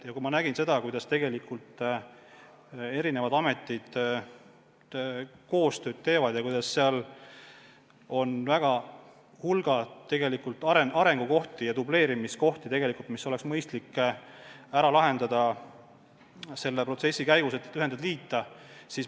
Ja kui ma nägin, kuidas eri ametid koostööd teevad, nägin, et seal on tegelikult hulk dubleerimist ja muid arengukohti, siis leidsin, et oleks mõistlik need liitmisprotsessi abil ära lahendada.